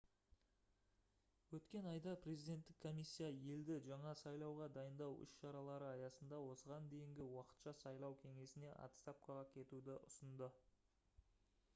өткен айда президенттік комиссия елді жаңа сайлауға дайындау іс-шаралары аясында осыған дейінгі уақытша сайлау кеңесіне отставкаға кетуді ұсынды